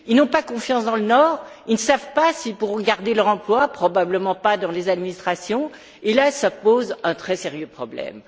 Ils n'ont pas confiance dans le Nord, ils ne savent pas s'ils pourront garder leur emploi, probablement pas dans les administrations, et cela pose un très sérieux problème.